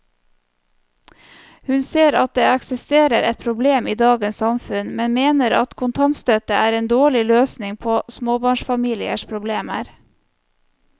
Hun ser at det eksisterer et problem i dagens samfunn, men mener at kontantstøtte er en dårlig løsning på småbarnsfamiliers problemer.